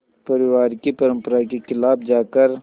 परिवार की परंपरा के ख़िलाफ़ जाकर